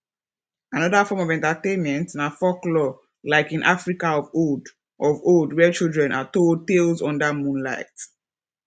another form of entertainment na forklore like in africa of old of old where children are told tales under moonlight